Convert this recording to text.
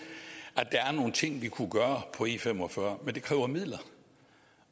at der er nogle ting vi kunne gøre på e45 men det kræver midler